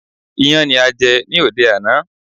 Iyán ni a jẹ ní òde àná.